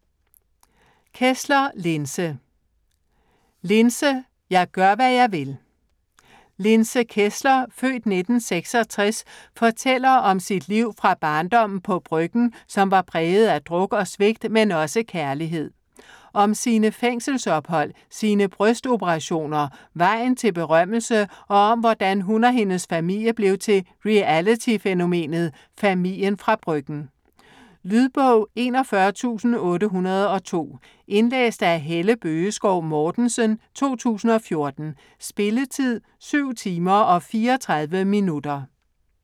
Kessler, Linse: Linse - jeg gør, hvad jeg vil Linse Kessler (f. 1966) fortæller om sit liv fra barndommen på Bryggen, som var præget af druk og svigt, men også kærlighed. Om sine fængselsophold, sine brystoperationer, vejen til berømmelse, og om hvordan hun og hendes familie blev til reality-fænomenet "Familien fra Bryggen". Lydbog 41802 Indlæst af Helle Bøgeskov Mortensen, 2014. Spilletid: 7 timer, 34 minutter.